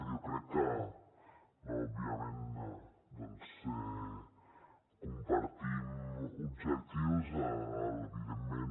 jo crec que òbviament doncs compartim objectius evidentment